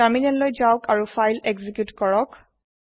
তাৰমিনেললৈ যাওক আৰু ফাইল এক্সিকিওত কৰক